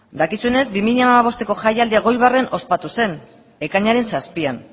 dakizuenez bi mila hamabostko jaialdia elgoibarren ospatu zen ekainaren zazpian